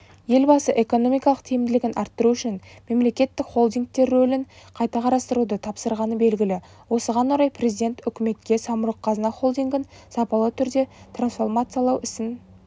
елбасы экономикалық тиімділігін арттыру үшін мемлекеттік холдингтер рөлін қайта қарастыруды тапсырғаны белгілі осыған орай президент үкіметке самұрық-қазына холдингін сапалы түрде трансформациялауісін